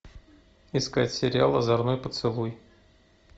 искать сериал озорной поцелуй